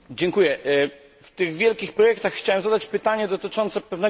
W tych wielkich projektach chciałbym zadać pytanie dotyczące pewnego konkretu.